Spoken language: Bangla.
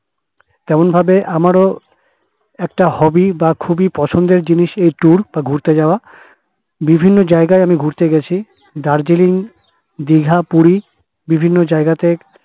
তেমন ভাবে আমার ও একটা hobby বা খুবই পছন্দের জিনিস tour বা ঘুরতে যাওয়া বিভিন্ন জায়গায় আমি ঘুরতে গিয়েছি দার্জিলিং দিঘা পুরি বিভিন্ন জায়গা তে